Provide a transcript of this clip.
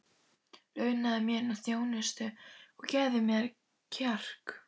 Launaðu mér nú þjónustuna og gefðu mér kjark!